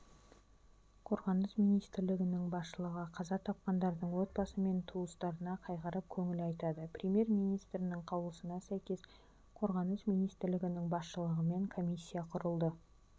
қорғаныс министрлігінің басшылығы қаза тапқандардың отбасы мен туыстарына қайғырып көңіл айтады премьер-министрінің қаулысына сәйкес қорғаныс министрлігінің басшылығымен комиссия құрылды